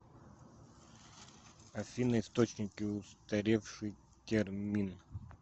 афина источники устаревший термин